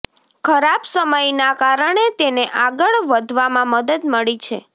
ખરાબ સમયના કારણે તેને આગળ વધવામાં મદદ મળી છે